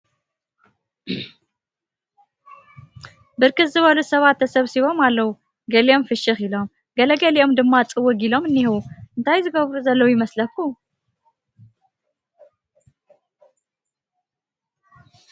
ብርክት ዝበሉ ሰባት ተሰብሲቦም ኣለዉ ገሊኦም ፍሽኽ ኢሎም ገለ ገሊኦም ድማ ፅውግ ኢሎም እንሄዉ ፡ እንታይ ዝገብሩ ዘለዉ ይመስለኩም ?